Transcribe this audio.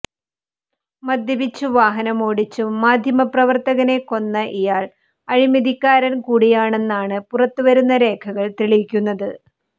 മദ്യപിച്ച് വാഹനമോടിച്ച് മാധ്യമ പ്രവർത്തകനെ കൊന്ന ഇയാൾ അഴിമതികാരൻ കൂടിയാണെന്നാണ് പുറത്ത് വരുന്ന രേഖകൾ തെളിക്കുന്നത്